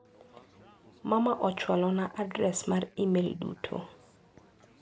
Mama ochwalo na adres mar imel duto.